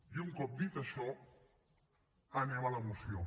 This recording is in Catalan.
i un cop dit això anem a la moció